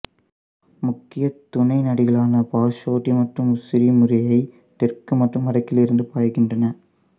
முக்கிய துணை நதிகளான பார்சோட்டி மற்றும் உஸ்ரி முறையே தெற்கு மற்றும் வடக்கிலிருந்து பாய்கின்றன